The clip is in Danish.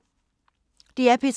DR P3